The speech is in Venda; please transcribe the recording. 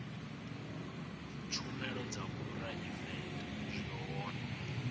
tshumelo dza phuraivete zwi hone